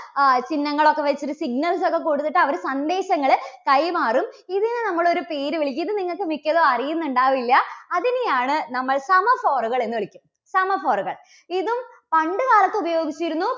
ആ ചിഹ്നങ്ങൾ ഒക്കെ കൊടുത്തിട്ട്, signals ഒക്കെ കൊടുത്തിട്ട് അവര് സന്ദേശങ്ങള് കൈമാറും. ഇതിനെ നമ്മള് ഒരു പേര് വിളിക്കും. ഇത് നിങ്ങൾക്ക് മിക്കതും അറിയുന്നുണ്ടാവില്ല. അതിനെയാണ് നമ്മൾ semaphore കൾ എന്ന് വിളിക്കും. semaphore കൾ. ഇതും പണ്ട് കാലത്ത് ഉപയോഗിച്ചിരുന്നു